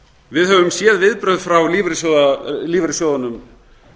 við höfum séð viðbrögð frá lífeyrissjóðunum